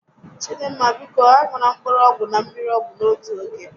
Chidinma, biko a ṅụla mkpụrụ ọgwụ na mmiri ọgwụ n'otu oge